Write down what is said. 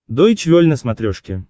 дойч вель на смотрешке